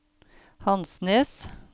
Hansnes